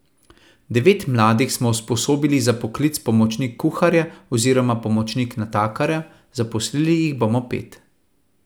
Devet mladih smo usposobili za poklic pomočnik kuharja oziroma pomočnik natakarja, zaposlili jih bomo pet.